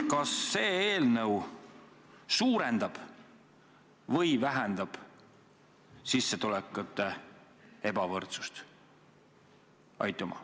Kas see eelnõu suurendab või vähendab sissetulekute ebavõrdsust?